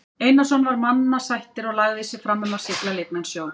Einarsson var mannasættir og lagði sig fram um að sigla lygnan sjó.